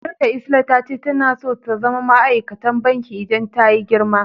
Yar'ta lsla tace tana so ta zama ma'aikatan banki idan tayi girma.